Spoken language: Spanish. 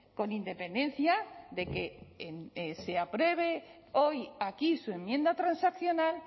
con independencia de que se apruebe hoy aquí su enmienda transaccional